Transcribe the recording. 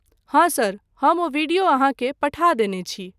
हाँ सर, हम ओ वीडियो अहाँकेँ पठा देने छी।